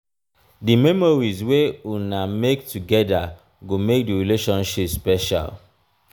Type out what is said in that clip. di memories wey una make togeda go make di relationship special.